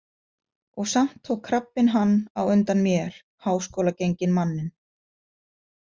Og samt tók krabbinn hann á undan mér, háskólagenginn manninn.